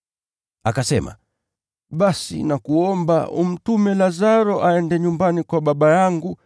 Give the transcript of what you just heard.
“Akasema, ‘Basi, nakuomba, umtume Lazaro aende nyumbani kwa baba yangu,